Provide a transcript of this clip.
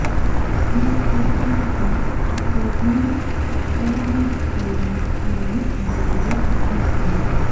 Tertechin en or koburoinak koimutyoni en logok ak biik cheechen.